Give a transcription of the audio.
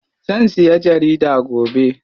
Zan siya jarida gobe.